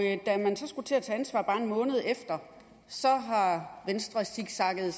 da man så skulle til at tage ansvar bare en måned efter zigzaggede